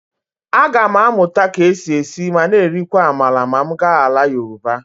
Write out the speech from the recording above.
Aga m amụta ka e si esi ma na-erikwa amala ma m gaa ala Yoruba.